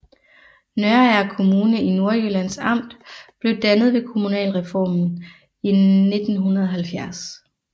Nørager Kommune i Nordjyllands Amt blev dannet ved kommunalreformen i 1970